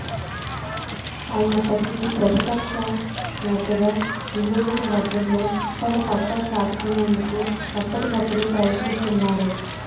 అయినప్పటికీ ప్రతిపక్ష నేతగా నియోజకవర్గంలో తన సత్తా చాటుకునేందుకు ఎప్పటికప్పుడు ప్రయత్నిస్తున్నారు